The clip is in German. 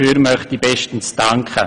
Dafür möchte ich bestens danken.